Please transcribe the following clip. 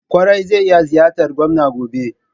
Ƙwarai, zai iya ziyartar gwamnan gobe.